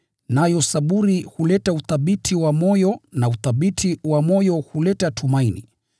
nayo saburi huleta uthabiti wa moyo, na uthabiti wa moyo huleta tumaini,